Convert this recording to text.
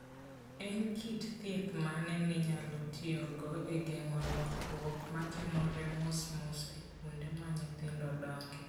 En kit thieth mane minyalo tiyogo e geng'o lokruok matimore mosmos e kuonde ma nyithindo dongoe?